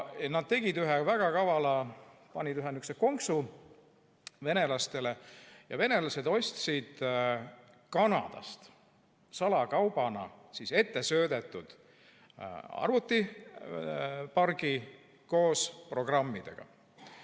Nad tegid ühe väga kavala asja: panid ühe sihukese konksu venelastele, nii et venelased ostsid Kanadast salakaubana ette söödetud arvutipargi koos programmidega.